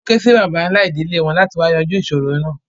Wọ́n ké sí bàbá ńlá ìdílẹ̀ wọn láti wá yànjú ìṣòro náà.